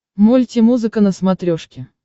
мульти музыка на смотрешке